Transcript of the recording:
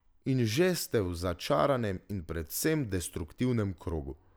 In že ste v začaranem in predvsem destruktivnem krogu.